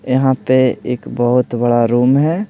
यहाँ पे एक बहुत बड़ा रूम है।